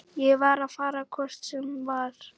Ég var að fara hvort sem var.